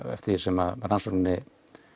eftir því sem rannsókninni